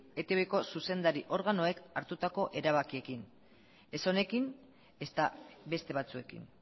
eitbko zuzendari organoek hartutako erabakiekin ez honekin ezta beste batzuekin